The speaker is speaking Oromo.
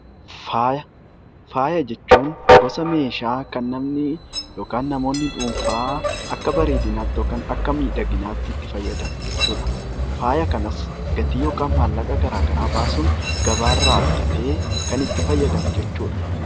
Faaya. Faaya jechuun gosa meeshaa kan namni yookiin namoonni dhuunfaa akka bareedinaatti yookiin akka miidhaginaatti itti fayyadamu jechuudha. Faaya kanas gatii yookiin maallaqaa garaa garaa baasuun gabaa irraa bitatee kan itti fayyadamu jechuudha.